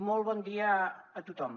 molt bon dia a tothom